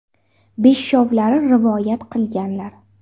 Beshovlari rivoyat qilganlar.